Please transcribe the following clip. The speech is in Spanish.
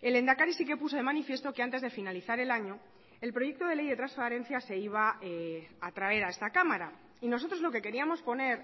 el lehendakari sí que puso de manifiesto que antes de finalizar el año el proyecto de ley de transparencia se iba a traer a esta cámara y nosotros lo que queríamos poner